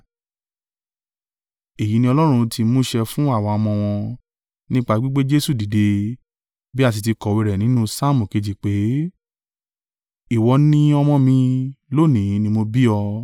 èyí ni Ọlọ́run ti mú ṣẹ fún àwa ọmọ wọn, nípa gbígbé Jesu dìde, bí a sì ti kọ̀wé rẹ̀ nínú Saamu kejì pé, “ ‘Ìwọ ni Ọmọ mi; lónìí ni mo bí ọ.’